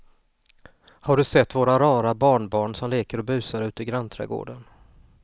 Har du sett våra rara barnbarn som leker och busar ute i grannträdgården!